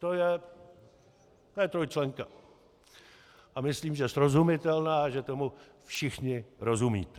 To je trojčlenka a myslím, že srozumitelná a že tomu všichni rozumíte.